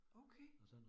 Okay